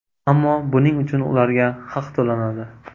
Ammo buning uchun ularga haq to‘lanadi.